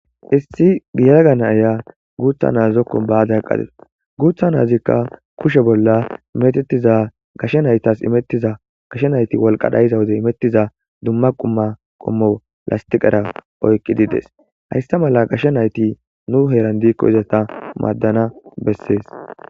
Issi giyaraganaaya guutha naazokko baade haqqades guutha naazikka kushe bolla metettiza gashe naytas imettiza gashe nayti walqadhayiza wode imettiza dumma qumma qommo lastiqera oykqi dides hayssa mala gashe nayti nu heeran diikko izata maaddana bessees.